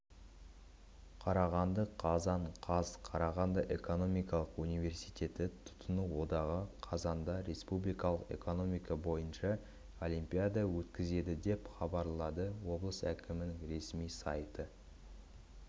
қарағанды қазан қаз қарағанды экономикалық университеті тұтыну одағы қазанда республикалық экономика бойынша олимпиада өткізеді деп хабарлады облыс әкімінің ресми сайты